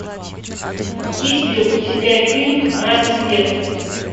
есть ли у тебя фильм рассвет